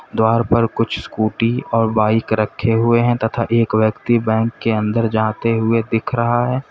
द्वार पर कुछ स्कूटी और बाइक रखे हुए हैं तथा एक व्यक्ति बैंक के अंदर जाते हुए दिख रहा है।